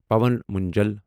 پاون منجل